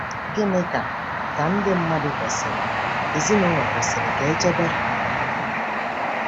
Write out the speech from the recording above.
Gịnị ka ka ndị mmadụ kwesịrị ezinụlọ kwesịrị ka e chebe?